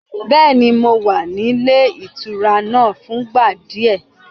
Bẹ́ẹ̀ni, mo wà nílé ìtura náà fúngbà díẹ̀.